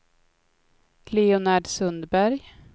Leonard Sundberg